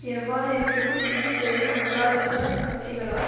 எவ்வாறிருப்பினும் இரு பெரிய முதலாளித்துவ கட்சிகளால்